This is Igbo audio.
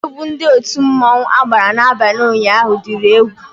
Egwu Ndị otu mmanwu agbara n'abalị ụnyaahụ diri egwú